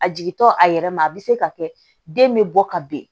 A jigintɔ a yɛrɛ ma a bɛ se ka kɛ den bɛ bɔ ka ben